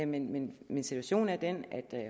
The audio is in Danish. men men situationen er den